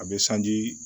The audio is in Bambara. A bɛ sanji